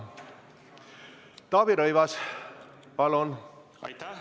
Taavi Rõivas, palun!